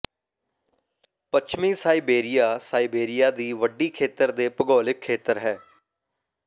ਪੱਛਮੀ Siberia Siberia ਦੀ ਵੱਡੀ ਖੇਤਰ ਦੇ ਭੂਗੋਲਿਕ ਖੇਤਰ ਹੈ